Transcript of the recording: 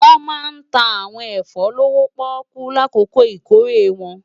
Wòn má ntá áwòn efò lówó-pòkú lákókó ikóré wòn